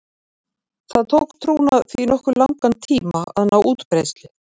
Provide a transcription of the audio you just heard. Það tók trúna því nokkuð langan tíma að ná útbreiðslu.